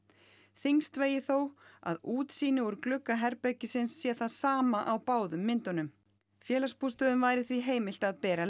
þyngst vegi þó að útsýni úr glugga herbergisins sé það sama á báðum myndunum félagsbústöðum væri því heimilt að bera